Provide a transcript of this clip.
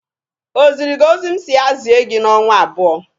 O ziri gị ozi m si ya zie gị n'ọnwa abụọ?